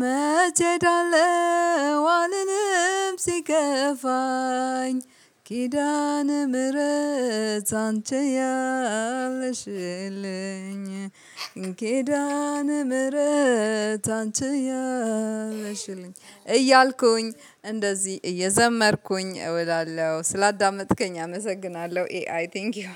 መቼ እሄዳለው አልልም። ሲከፋኝ ኪዳነ ምህረት አንቺ ያለሽልኝ። ኬዳን አንቺ ያለሽልኝ። እያልኩኝ እንደዚህ እየዘመርኩኝ እዉላለሁ ስላዳመጥከኝ አመሰግናለሁ። ኤአይ ቴንኪው።